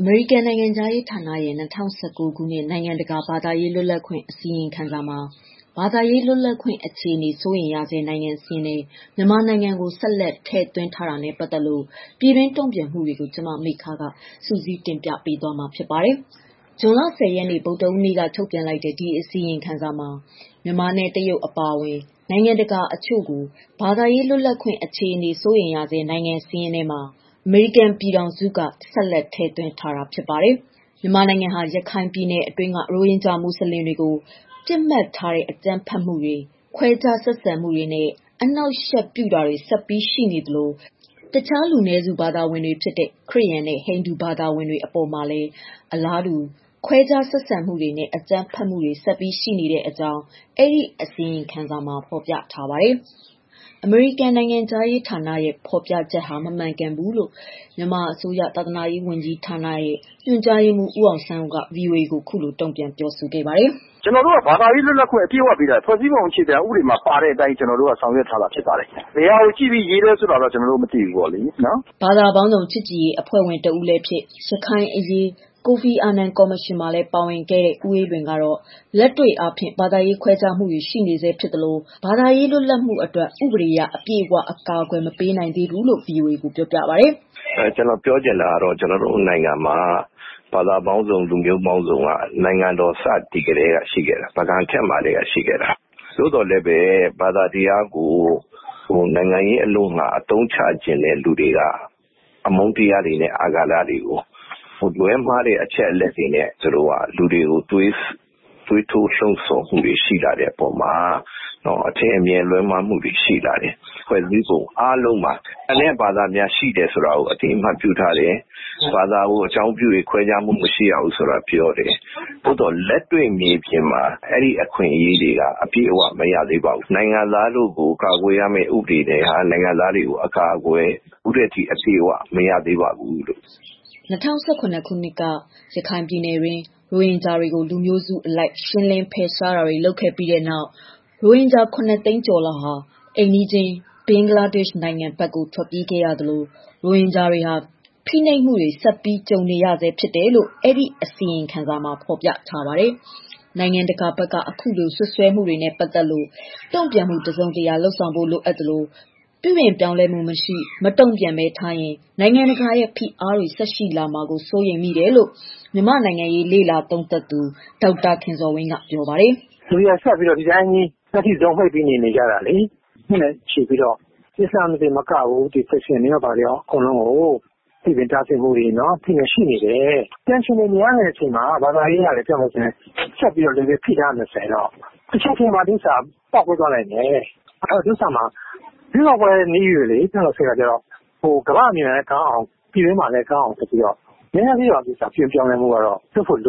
အမေရိကန်နိုင်ငံခြားရေးဌာနရဲ့ ၂၀၁၉ ခုနှစ် နိုင်ငံတကာ ဘာသာရေးလွတ်လပ်ခွင့် အစီရင်ခံစာမှာ ဘာသာရေးလွတ်လပ်ခွင့် အခြေအနေ စိုးရိမ်ရဆဲ နိုင်ငံစာရင်းထဲ မြန်မာကို ဆက်လက်ထည့်သွင်းထားတာနဲ့ ပတ်သတ်လို့ ပြည်တွင်းတုံ့ပြန်မှုတွေကို ဗွီအိုအေမြန်မာပိုင်းသတင်းထောက် မမေခက စုစည်းတင်ပြပေးပါမယ်။ ဇွန်လ ၁၀ ရက် ဗုဒ္ဓဟူးနေ့က ထုတ်ပြန်လိုက်တဲ့ ဒီအစီရင်ခံစာမှာမြန်မာနဲ့ တရုတ် အပါအဝင်နိုင်ငံတချို့ကို ဘာသာရေး လွတ်လပ်ခွင့် အခြေအနေ စိုးရိမ်ရဆဲ နိုင်ငံစာရင်းထဲမှာ အမေရိကန်ပြည်ထောင်စုက ဆက်လက်ထည့်သွင်းထားတာပါ။ မြန်မာနိုင်ငံဟာ ရခိုင်ပြည်နယ်တွင်းက ရိုဟင်ဂျာမွတ်ဆလင်တွေကို ပစ်မှတ်ထားတဲ့ အကြမ်းဖက်မှုတွေ၊ ခွဲခြားဆက်ဆံမှုတွေနဲ့ အနှောက်အယှက်ပြုတာတွေဆက်ပြီး ရှိနေသလို တခြားလူနည်းစု ဘာသာဝင်တွေဖြစ်တဲ့ ခရစ်ယာန်နဲ့ ဟိန္ဒူဘာသာဝင်တွေအပေါ်မှာလည်း အလားတူ ခွဲခြားဆက်ဆံမှုတွေနဲ့ အကြမ်းဖက်မှုတွေ ဆက်ပြီး ရှိနေတဲ့အကြောင်း အစီရင်ခံစာမှာ ဖော်ပြထားပါတယ်။ အမေရိကန်နိုင်ငံခြားရေးဌာန ဖော်ပြချက်ဟာ မမှန်ကန်ဘူးလို့ မြန်မာအစိုးရ သာသာနာရေးဝန်ကြီးဌာန ညွှန်ကြားရေးမှူး ဦးအောင်ဆန်းဦးက VOA ကို တုံ့ပြန်ပြောခဲ့ပါတယ်။ "ကျနော်တို့က ဘာသာရေးလွတ်လပ်ခွင့် အပြည့်အဝပေးတာ ဖွဲ့စည်းပုံအခြေခံဥပဒေမှာ ပါတဲ့အတိုင်း ကျနော်တို့က ဆောင်ရွက်ထားတာဖြစ်ပါတယ်။ ဘယ်ဟာကို ကြည့်ပြီးရေးသလဲဆိုတာ ကျနော်တို့မသိဘူးလေနော်။" ဘာသာပေါင်းစုံချစ်ကြည်ရေး အဖွဲ့ဝင်တဦးလည်းဖြစ် ရခိုင်အရေးကိုဖီအာနန်ကော်မရှင် မှာလည်းပါဝင်ခဲ့တဲ့ ဦးအေးလွင်ကတော့ လက်တွေ့အားဖြင့် ဘာသာရေးခွဲခြားမှုတွေရှိနေဆဲဖြစ်သလို၊ ဘာသာရေးလွတ်လပ်မှုအတွက် ဥပဒေအရ အပြည့်အဝအကာအကွယ်မပေးနိုင်ဘူးလို့ VOA ကို ပြောပါတယ်။ "ကျနော်ပြောချင်တာက ကျနော်တို့နိုင်ငံမှာ ဘာသာပေါင်းစုံ၊ လူမျိုးပေါင်းစုံက ကျနော်တို့နိုင်ငံစတည်ကတည်းက ရှိခဲ့တာပါ။ ပုဂံခေတ်မှာကတည်းက ရှိခဲ့တာ။ သို့သော်လည်းပဲ ဘာသာတရားကို နိုင်ငံရေးအလို့ငှာ အသုံးချချင်တဲ့လူတွေက အမှန်းတရားတွေနဲ့ အာဂါတတွေကို လွဲမှားတဲ့အချက်အလက်တွေနဲ့ သူတို့က လူတွေကို သွေးထိုး လှုံဆော်မှုရှိလာတဲ့အပေါ်မှာ အထင်အမြင်လွဲမှားမှုတွေ ရှိလာတယ်။ ဖွဲ့စည်းပုံအားလုံးမှာ ကျန်တဲ့ဘာသာတွေရှိတယ်ဆိုတာကို အသိအမှတ်ပြုထားတယ်။ ဘာသာကို အကြောင်းပြုပြီး ခွဲခြားမှုမရှိရဘူးဆိုတာ ပြောတယ်။ သို့သော် လက်တွေ့မြေပြင်မှာ အဲအခွင့်အရေးတွေက အပြည့်အဝ မရသေးပါဘူး။ နိုင်ငံသားတို့ကို ကာကွယ်ရမယ့် ဥပဒေတွေက နိုင်ငံသားတွေကို အကာအကွယ် ခုထက်ထိ အပြည့်အဝ မရသေးပါဘူးလို့။" ၂၀၁၇ ခုနှစ်က ရခိုင်ပြည်နယ်တွင်း ရိုဟင်ဂျာတွေကို လူမျိုးစုအလိုက် ရှင်းလင်းဖယ်ရှားတာတွေ လုပ်ခဲ့ပြီးတဲ့နောက် ရိုဟင်ဂျာ ၇၀၀,၀၀၀ ကျော် အိမ်နီးချင်း ဘင်္ဂလားဒေ့ရှ် နိုင်ငံဘက် ထွက်ပြေးခဲ့ရသလို ရိုဟင်ဂျာတွေဟာ ဖိနှိပ်မှုတွေဆက်ပြီး ကြုံနေရဆဲပဲလို့ အစီရင်ခံစာမှာ ဖော်ပြထားပါတယ်။ နိုင်ငံတကာဘက်က အခုလို စွပ်စွဲနေမှုတွေနဲ့ပတ်သတ်လို့ တုံ့ပြန်မှု တစုံတရာလုပ်ဆောင် ဖို့လိုအပ် သလိုပြုပြင် ပြောင်းလဲမှု မရှိမတုံ့ပြန်ဘဲ ထားရင် နိုင်ငံတကာရဲ့ ဖိအားတွေ ထပ်ရှိလာနိုင်မှာကို စိုးရိမ်မိတယ်လို့မြန်မာ နိုင်ငံရေးသူံးသပ်သူဒေါက်တာ ခင်ဇော်ဝင်းက ပြောပါတယ်။ "ဆက်ပြီး မျက်စိစုံမှိတ်ပြီး နေနေကြတာလေ။ ဘာသာရေးလွတ်လပ်ခွင့်က ဒီ case တစ်ခုထဲမဟုတ်ဘူး။ အချိန်တွေဆွဲလာတာ ကြာလှပြီလေ။ နှစ်ရှည်လများ အစလမ်းတွေမက ခရစ်ယာန်တွေအပေါ်မှာလည်း ပိတ်ပင်တားဆီးဖိနှိပ်တာတွေ ရှိနေတယ်။ တန်ရှင်တွေများနေချိန်မှာ ဘာသာရေးကိုပါ ဆက်ဖိထားရင်တချိန်ပေါက်ကွဲလာလိမ့်မယ်။ ရွေးကောက်ပွဲကလည်းနီးပြီ ကမ္ဘာ့အမြင်လည်းကောင်းအောင် နည်းနည်းလေးပြုပြင်ပြောင်းလဲပေး